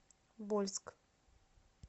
вольск